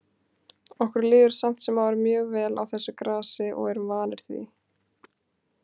Okkur líður samt sem áður mjög vel á þessu grasi og erum vanir því.